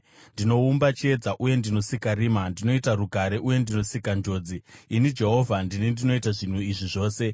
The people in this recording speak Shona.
Ndinoumba chiedza uye ndinosika rima, ndinoita rugare uye ndinosika njodzi; ini Jehovha, ndini ndinoita zvinhu izvi zvose.